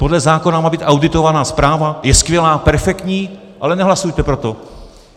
Podle zákona má být auditovaná zpráva - je skvělá, perfektní, ale nehlasujete pro to.